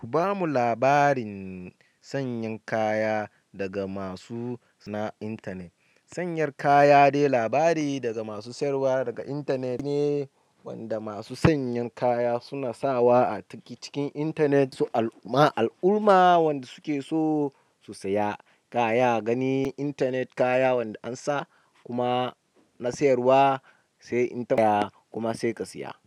Ku bamu labarin sanyan kaya daga masu na internet. Sayan kaya dai labari daga masu sayarwa daga internet ne, wanda masu sayan kaya suna sawa a cikin internet su al'umma, al'umma wanda suke so su saya kaya, gani internet kaya wanda an sa kuma na sayarwa sai in taɓa kuma sai ka saya.